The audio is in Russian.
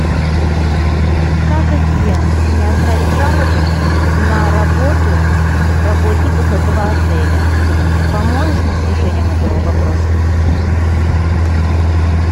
как и где мне оставить жалобу на работу работников этого отеля поможешь мне с решением этого вопроса